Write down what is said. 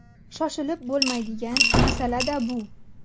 Shoshilib bo‘lmaydigan masala-da bu.